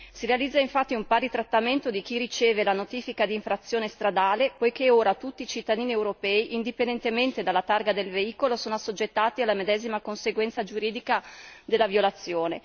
Si realizza infatti un pari trattamento di chi riceve la notifica d'infrazione stradale, poiché ora tutti i cittadini europei, indipendentemente dalla targa del veicolo, sono assoggettati alla medesima conseguenza giuridica della violazione.